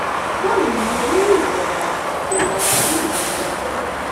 báwo ni olórí ìjọba ìjọba wa yóò ṣe sọ bẹẹ